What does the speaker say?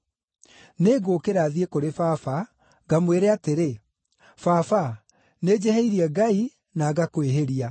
Nĩngũũkĩra thiĩ kũrĩ baba ngamwĩre atĩrĩ: Baba, nĩnjĩhĩirie Ngai na ngakwĩhĩria.